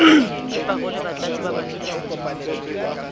le parole batlatsi ba badulasetulo